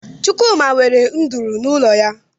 Chụkwụma nwere ndụrụ n'ụlọ ya